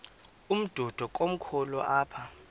umdudo komkhulu apha